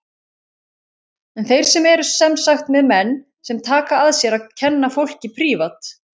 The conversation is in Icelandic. En þeir eru sem sagt með menn sem taka að sér að kenna fólki prívat.